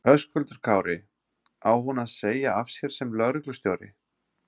Höskuldur Kári: Á hún að segja af sér sem lögreglustjóri?